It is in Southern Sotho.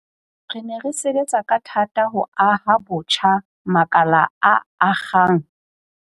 Re ne re sebetsa ka thata ho aha botjha makala a akgang.